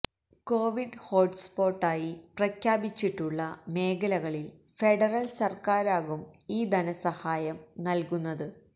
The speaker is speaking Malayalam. കോവിഡ് ഹോട്ട്സ്പോട്ടായി പ്രഖ്യാപിച്ചിട്ടുള്ള മേഖലകളിൽ ഫെഡറൽ സർക്കാരാകും ഈ ധനസഹായം നൽകുന്നത്